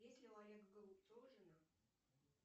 есть ли у олега голубцова жена